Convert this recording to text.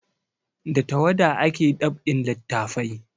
Da tawada ake dab'in littafai